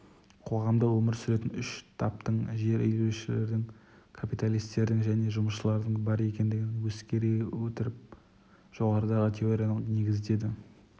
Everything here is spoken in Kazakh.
қоғамда өмір сүретін үш таптың жер иеленушілердің капиталистердің және жұмысшылардың бар екендігін ескере отырып жоғарыдағы теорияны негіздеді